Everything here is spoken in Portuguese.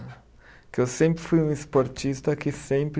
Que eu sempre fui um esportista que sempre